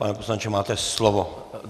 Pane poslanče, máte slovo.